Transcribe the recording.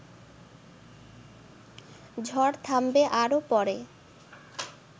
ঝড় থামবে আরও পড়ে